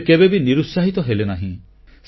ସେ କେବେ ବି ନିରୁତ୍ସାହିତ ହେଲେନାହିଁ